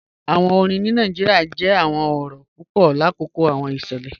Awọn orin ni Nigeria jẹ awọn ọrọ ọ̀rìn papọ lakoko awọn iṣẹlẹ.